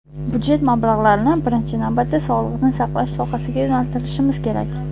Budjet mablag‘larini birinchi navbatda sog‘liqni saqlash sohasiga yo‘naltirishimiz kerak.